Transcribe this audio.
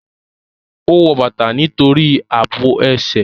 Ó wọ bàtà nítorí àbò ẹsẹ̀